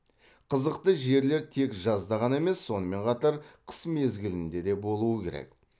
қызықты жерлер тек жазда ғана емес сонымен қатар қыс мезгілінде де болуы керек